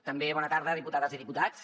també bona tarda diputades i diputats